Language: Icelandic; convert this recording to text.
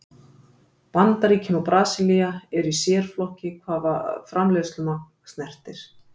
Bandaríkin og Brasilía eru í sérflokki hvað framleiðslumagn snertir.